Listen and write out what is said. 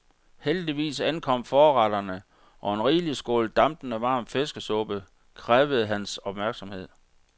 Heldigvis ankom forretterne, og en rigelig skål dampende varm fiskesuppe krævede hans opmærksomhed.